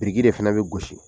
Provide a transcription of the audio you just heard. Biriki de fana bɛ gosi